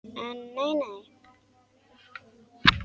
En nei nei.